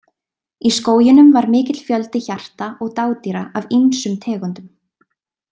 Í skóginum var mikill fjöldi hjarta og dádýra af ýmsum tegundum.